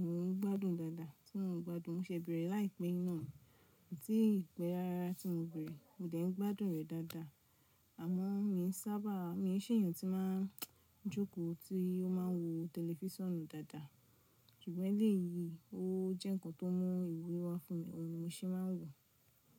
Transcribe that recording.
mo ń gbádùn dáadáa, tí mo ń gbádùn, mo ṣẹ̀ bẹ̀rẹ̀ láìpẹ́ yii iná ni ko tíì pẹ rárá tí mo bẹ̀rẹ̀, mo dẹ̀ ń gbádùn rẹ̀ dáadáa, àmọ́ mi sábà, mi ṣè èèyàn tí máa ń jókòó, tí ó máa ń wo tẹlifíṣonù dáadáa, ṣùgbọ́n eléyìí ó jẹ́ ǹkan tó mu ìwúrí wá fún mi, òhun ni mo ṣe máa ń wò.